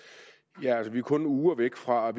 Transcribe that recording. vi er kun uger væk fra